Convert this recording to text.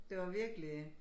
Det var virkelig